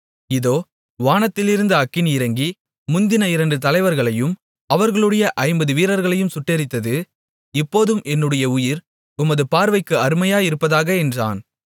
இதோ வானத்திலிருந்து அக்கினி இறங்கி முந்தின இரண்டு தலைவர்களையும் அவரவர்களுடைய ஐம்பது வீரர்களையும் சுட்டெரித்தது இப்போதும் என்னுடைய உயிர் உமது பார்வைக்கு அருமையாயிருப்பதாக என்றான்